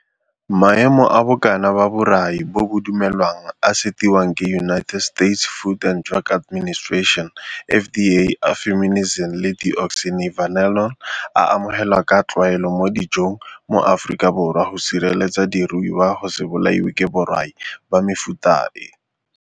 Maemo a bokana ba borai bo bo dumelwang a a setiwang ke United States Food and Drug Administration, FDA, a fumonisin le deoxynivalenol a amogelwa ka tlwaelo mo dijong mo Afrikaborwa go sireletsa diruiwa go se bolaiwe ke borai ba mefuta e.